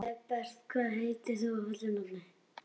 Herbert, hvað heitir þú fullu nafni?